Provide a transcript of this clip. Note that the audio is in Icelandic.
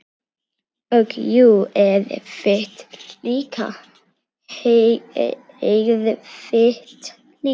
Og jú, erfitt líka.